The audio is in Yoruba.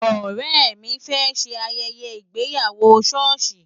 Ọ̀rẹ́ mi fẹ́ ṣe ayẹyẹ ìgbéyàwó ṣọ́ọ̀ṣì.